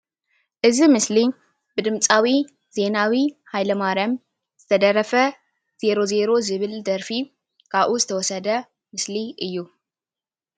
እዚ ምስሊ ብድምፃዊ ዘይናዊ ሃይለማርያም ዝተደረፈ ዘይሮ ዘይሮ ዝብል ደርፊ ካብኡ ዝተወሰደ ምስሊ እዩ፡፡